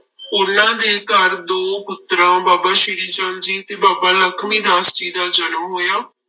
ਉਹਨਾਂ ਦੇ ਘਰ ਦੋ ਪੁੱਤਰਾਂ ਬਾਬਾ ਸ੍ਰੀ ਚੰਦ ਜੀ ਤੇ ਬਾਬਾ ਲਖਮੀ ਦਾਸ ਜੀ ਦਾ ਜਨਮ ਹੋਇਆ।